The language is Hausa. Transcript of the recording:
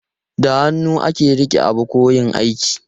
Da hannu ake rike abu ko yin aiki.